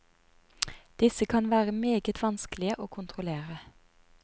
Disse kan være meget vanskelige å kontrollere.